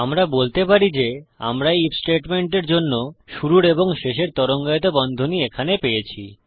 আমরা বলতে পারি যে আমরা এই আইএফ স্টেটমেন্ট এর জন্য শুরুর এবং শেষের তরঙ্গায়িত বন্ধনী এখানে পেয়েছি